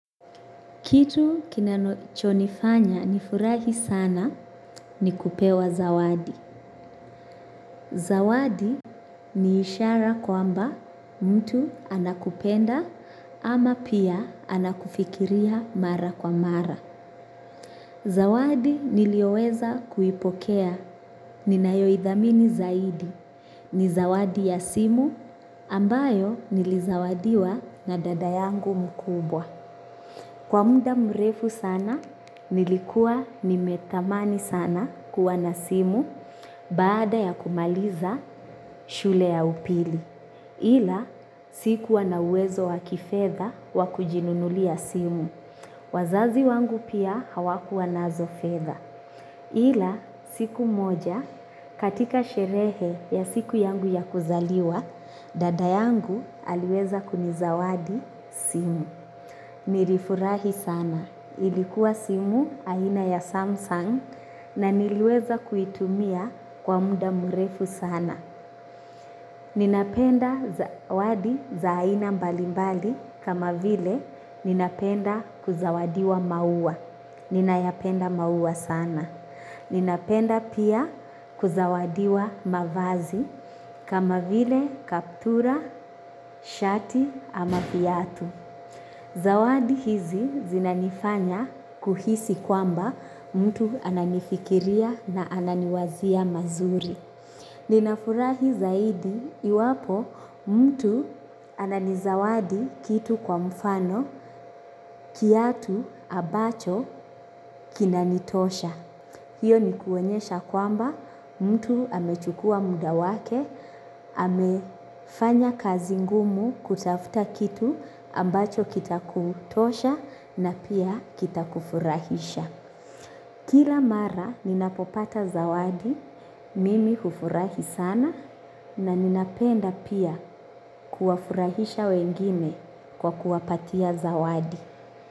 Kitu kinano, chonifanya nifurahi sana ni kupewa zawadi. Zawadi ni ishara kwamba mtu anakupenda ama pia anakufikiria mara kwa mara. Zawadi nilioweza kuipokea ninayoidhamini zaidi. Ni zawadi ya simu ambayo nilizawadiwa na dada yangu mkubwa. Kwa muda mrefu sana, nilikuwa nimetamani sana kuwa na simu baada ya kumaliza shule ya upili. Ila sikuwa na uwezo wakifedha wa kujinunulia simu. Wazazi wangu pia hawakuwa nazo fedha. Ila siku moja katika sherehe ya siku yangu ya kuzaliwa, dada yangu aliweza kunizawadi simu. Nilifurahi sana. Ilikuwa simu aina ya Samsung na niliweza kuitumia kwa muda mrefu sana. Ninapenda zawadi za aina mbalimbali kama vile ninapenda kuzawadiwa maua. Ninayapenda maua sana. Ninapenda pia kuzawadiwa mavazi kama vile kaptura, shati ama viatu. Zawadi hizi zinanifanya kuhisi kwamba mtu ananifikiria na ananiwazia mazuri. Ninafurahi zaidi iwapo mtu ananizawadi kitu kwa mfano kiatu ambacho kinanitosha. Hiyo ni kuonyesha kwamba mtu amechukua muda wake, amefanya kazi ngumu kutafuta kitu ambacho kitakutosha na pia kitakufurahisha. Kila mara ninapopata zawadi, mimi hufurahi sana na ninapenda pia kuwafurahisha wengine kwa kuwapatia zawadi.